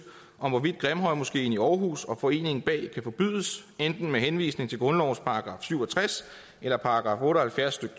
om hvorvidt grimhøjmoskeen i århus og foreningen bag kan forbydes enten med henvisning til grundlovens § syv og tres eller § otte og halvfjerds stykke